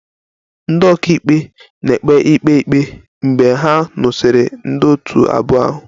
Ndị ọka ikpe na-ekpe ikpe ikpe mgbe ha nụsịrị ndị otu abụọ ahụ